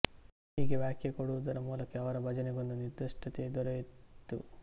ಹೀಗೆ ವ್ಯಾಖ್ಯಾ ಕೊಡುವುದರ ಮೂಲಕವೇ ಅವರ ಭಜನೆಗೊಂದು ನಿರ್ಧಷ್ಟತೆ ದೊರೆಯಿತು